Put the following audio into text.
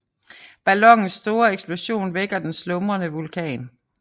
Ballonens store eksplosion vækker den slumrende vulkan